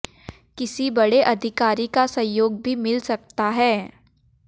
किसी बड़े अधिकारी का सहयोग भी मिल सकता है